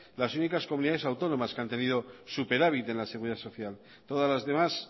las únicas comunidades autónomas que han tenido superávit en la seguridad social todas las demás